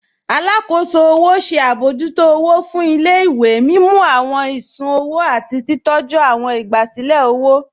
Àlàkóṣò ọwọ ṣẹ̀ abọ̀jútó ọwọ̀ fún ilẹ̀-ìwé, mímú awọn ìṣùn-ọwò àti titọ̀jú awọn ìgbàsílẹ̀ ọwọ.